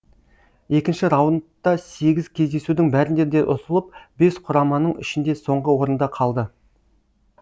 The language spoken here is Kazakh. екінші раундта сегіз кездесудің бәрінде де ұтылып бес құраманың ішінде соңғы орында қалды